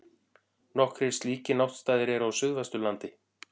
Nokkrir slíkir náttstaðir eru á Suðvesturlandi.